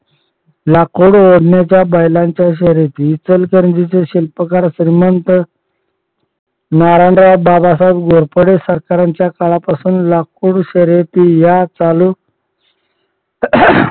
लाकूड ओढण्याच्या बैलाच्या शर्यती इचलकरंजीचे शिल्पकार श्रीमंत नारायण बाबासाहेब घोरपडे सरकार यांच्या काळापासून लाकूड शर्यंती या चालू